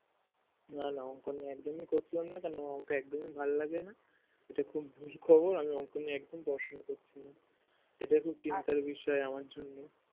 না না অংক নিয়ে একদমই করছিলাম না কেন আমার অংক একদমই ভালোলাগে না এটা খুব ভুল খবর আমি অংক নিয়ে একদম পড়াশোনা করছিনা এটা খুব চিন্তার বিষয় আমার জন্য